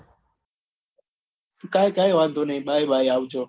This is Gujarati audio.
કઈ વાંધો નઈ bye bye આવજો